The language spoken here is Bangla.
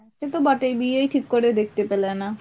সে তো বটেই বিয়েই ঠিক করে দেখতে পেলে না।